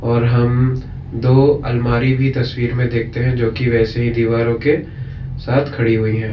और हम दो अलमारी भी तस्वीर में देखते हैं जो कि वैसे ही दीवारों के साथ खड़ी हुई है।